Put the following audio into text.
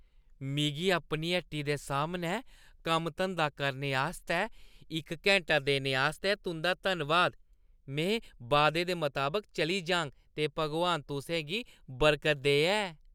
मिगी अपनी हट्टी दे सामनै कम्म-धंदा करने आस्तै इक घैंटा देने आस्तै तुंʼदा धन्नबाद। में वादे दे मताबक चली जाङ, ते भगवान तुसें गी बरकत देऐ।